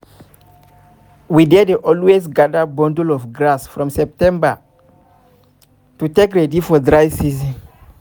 we dey dey always gather bundle of grass from september to take ready for dry season